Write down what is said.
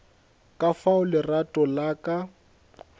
ka fao lerato la ka